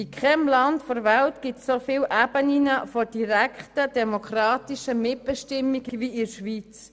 In keinem Land der Welt gibt es so viele Ebenen der direkten demokratischen Mitbestimmung wie in der Schweiz.